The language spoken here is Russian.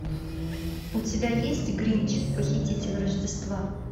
у тебя есть гринч похититель рождества